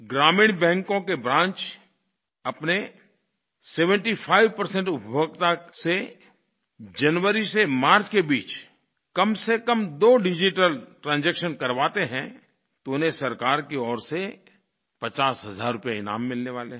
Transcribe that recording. ग्रामीण बैंको के ब्रांच अपने 75 उपभोक्ता से जनवरी से मार्च के बीच कम से कम दो डिजिटल ट्रांजैक्शन करवाते हैं तो उन्हें सरकार की ओर से 50 हज़ार रूपये ईनाम मिलने वाले हैं